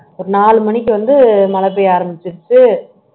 ஒரு நாலு மணிக்கு வந்து மழை பெய்ய ஆரம்பிச்சிருச்சு